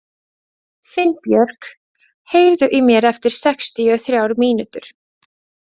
Finnbjörk, heyrðu í mér eftir sextíu og þrjár mínútur.